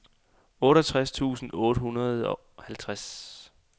otteogtres tusind otte hundrede og halvtreds